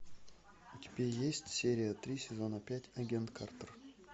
у тебя есть серия три сезона пять агент картер